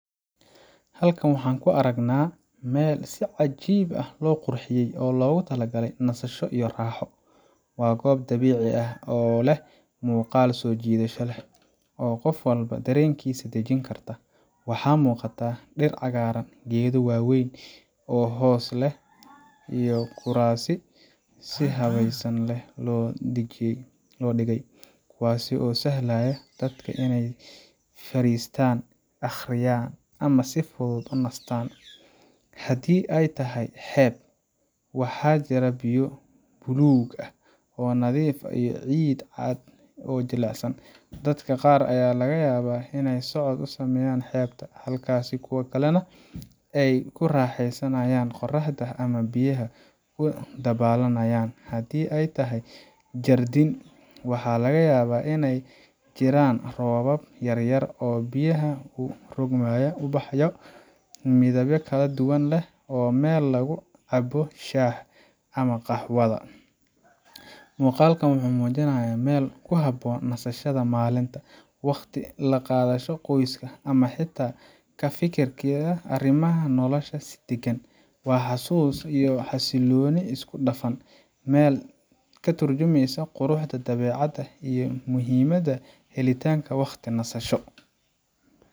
Halkan waxaan ku aragnaa meel si cajiib ah loo qurxiyey oo loogu talagalay nasasho iyo raaxo. Waa goob dabiici ah oo leh muuqaal soo jiidasho leh, oo qof walba dareenkiisa dejin karta. Waxaa muuqata dhir cagaaran, geedo waaweyn oo hoos leh, iyo kuraas si habsami leh loo dhigay kuwaas oo u sahlaya dadka inay fariistaan, akhriyaan, ama si fudud u nastaan. Haddii ay tahay xeeb, waxaa jira biyo buluug ah oo nadiif ah iyo ciid cad oo jilicsan. Dadka qaar ayaa laga yaabaa inay socod ku sameynayaan xeebta, halka kuwo kalena ay ku raaxeysanayaan qorraxda ama biyaha ku dabaalanayaan. Haddii ay tahay jardiin, waxaa laga yaabaa in ay jiraan roobab yar yar oo biyaha u rogmaya, ubaxyo midabyo kala duwan leh, iyo meel lagu cabbo shaaha ama qaxwada. Muuqaalkan wuxuu muujinayaa meel ku habboon nasashada maalinta, wakhti la qaadasho qoyska, ama xitaa ka fikiridda arrimaha nolosha si deggan. Waa xasuus iyo xasillooni isku dhafan, meel ka tarjumeysa quruxda dabeecadda iyo muhiimadda helitaanka wakhti nasasho.